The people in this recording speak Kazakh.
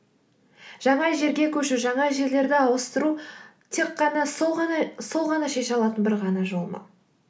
жаңа жерге көшу жаңа жерлерді ауыстыру тек қана сол ғана шеше алатын бір ғана жол ма